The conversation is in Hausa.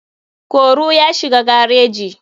koro ya shiga gareji.